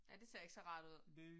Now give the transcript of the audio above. Ja, det ser ikke så rart ud